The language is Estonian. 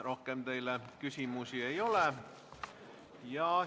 Rohkem teile küsimusi ei ole.